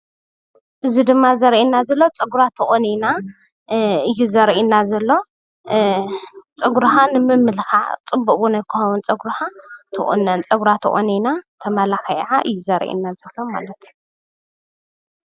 እዚ ድማ ዘሪኤና ዘሎ ፀጉራ ተቆኒና እዩ ዘሪኤና ዘሎ ፀጉርካ ንምምልኻዕ ፅቡቅ ንክከውን ፀጉርኻ እዩ ዝቁነን ፀጉራ ተቆኒና ተማላኪዓ እዩ ዘሪኤና ዘሎ ማለት እዩ ፡፡